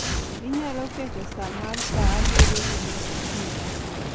Inyalo keto sa mar sa abiriyo gi nus okinyi.